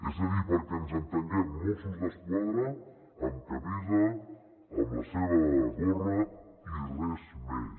és a dir perquè ens entenguem mossos d’esquadra amb camisa amb la seva gorra i res més